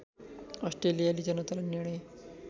अस्ट्रेलियाली जनतालाई निर्णय